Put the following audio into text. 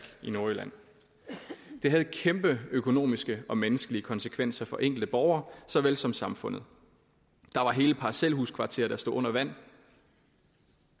i nordjylland det havde kæmpe økonomiske og menneskelige konsekvenser for de enkelte borgere såvel som for samfundet der var hele parcelhuskvarterer der stod under vand